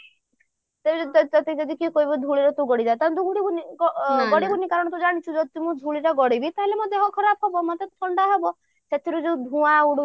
ତତେ ଯଦି କିଏ କହିବ ଧୂଳିରେ ଗଡିଯା ତାହେଲେ ତୁ ଗଡିବୁନି କାରଣ ତୁ ଜାଣିଛୁ ଯଦି ମୁଁ ଧୂଳିରେ ଗଡିବି ତାହେଲେ ମୋ ଦେହ ଖରାପ ହେବ ମତେ ଥଣ୍ଡା ହବ ସେଥିରେ ଯୋଉ ଧୂଆଁ